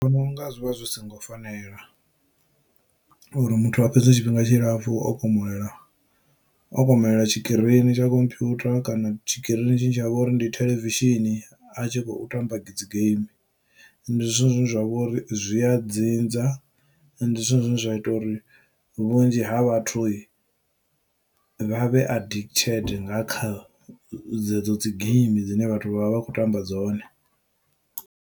Ndi vhononga zwivha zwi songo fanela uri muthu a fhedze tshifhinga tshilapfhu o komolela okomelela tshikirini tsha khomphwutha kana tshikirini tshine tshavha uri ndi theḽevishini a tshi khou tamba dzi game ndi zwithu zwine zwa vhori zwi ya dzinza ndi zwone zwine zwa ita uri vhunzhi ha vhathu vha vhe addicted nga kha dzedzo dzi geimi dzine vhathu vha vha khou tamba dzone.